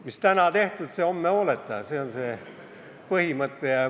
Mis täna tehtud, see homme hooleta – see on see põhimõte.